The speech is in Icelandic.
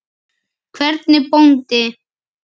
Hvernig bóndi?